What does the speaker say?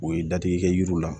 U ye dadigi kɛ yiriw la